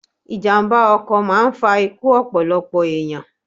Ìjàmba ọkọ̀ máà ń fa ikú ọ̀pọ̀lọpọ̀ ènìyàn